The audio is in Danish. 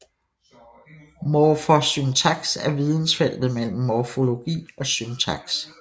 Morfosyntaks er vidensfeltet mellem morfologi og syntaks